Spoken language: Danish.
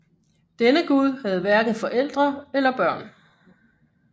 Denne gud havde hverken forældre eller børn